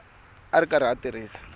a ri karhi a tirhisa